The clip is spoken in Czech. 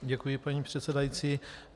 Děkuji, paní předsedající.